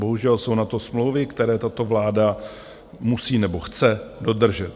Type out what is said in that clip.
Bohužel jsou na to smlouvy, které tato vláda musí nebo chce dodržet.